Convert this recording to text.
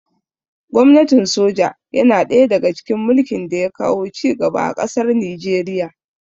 Gwamnatin soja yana ɗaya daga cikin mulkin da ya kawo ci gaba a ƙasar Nijeriya